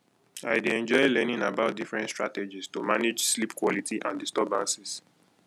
i dey enjoy learning about different strategies to manage sleep quality and disturbances